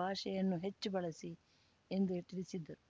ಭಾಷೆಯನ್ನು ಹೆಚ್ಚು ಬಳಸಿ ಎಂದು ತಿಳಿಸಿದ್ದರು